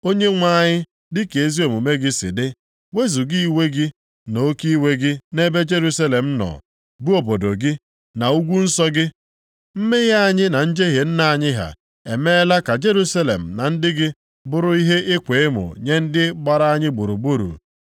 Onyenwe anyị, dịka ezi omume gị si dị, wezuga iwe gị na oke iwe gị nʼebe Jerusalem nọ, bụ obodo gị, na ugwu nsọ gị. Mmehie anyị na njehie nna anyị ha emeela ka Jerusalem na ndị gị bụrụ ihe ịkwa emo nye ndị gbara anyị gburugburu.